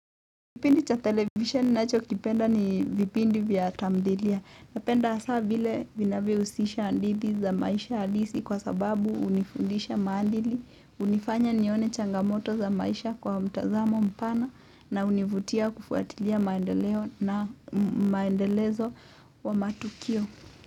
Kipindi cha television ninachokipenda ni vipindi vya tamthilia. Napenda hasa vile vinavyohusisha hadithi za maisha halisi kwa sababu hunifundisha maadili. Hunifanya nione changamoto za maisha kwa mtazamo mpana na hunivutia kufuatilia maendeleo na maendelezo wa matukio.